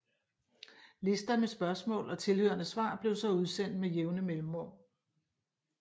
Lister med spørgsmål og tilhørende svar blev så udsendt med jævne mellemrum